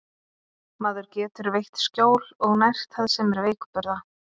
Maður getur veitt skjól og nært það sem er veikburða.